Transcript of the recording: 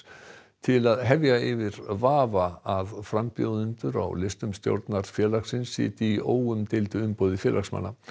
til að hefja yfir vafa að frambjóðendur á listum stjórnar félagsins sitji í óumdeildu umboði félagsmanna